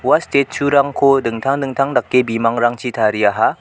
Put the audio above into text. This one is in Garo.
ua statue-rangko dingtang dingtang dake bimangrangchi tariaha.